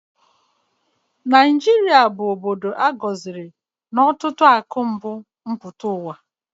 Naijata bụ obodo a gọziri na ọtụtụ akụ mbu mpụta ụwa